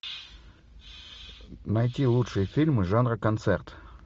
найти лучшие фильмы жанра концерт